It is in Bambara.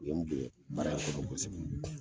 U ye n bonɲɛ baara in kɔnɔ kosɛbɛ